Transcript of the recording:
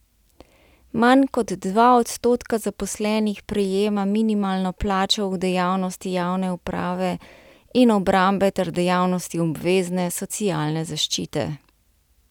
Manj kot dva odstotka zaposlenih prejema minimalno plačo v dejavnosti javne uprave in obrambe ter dejavnosti obvezne socialne zaščite.